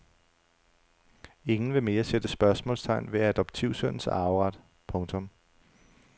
Ingen vil mere sætte spørgsmålstegn ved adoptivsønnens arveret. punktum